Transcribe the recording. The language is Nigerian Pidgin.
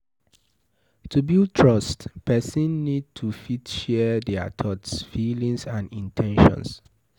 To build trust person need to fit share their thoughts, feelings and in ten tions